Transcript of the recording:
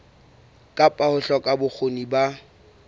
kapa ho hloka bokgoni ba